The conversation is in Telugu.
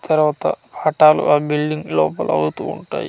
తర్వాత ఫఠాలు ఆ బిల్డింగ్ లోపల అవుతూ ఉంటాయి.